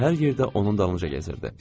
O da hər yerdə onun dalınca gəzirdi.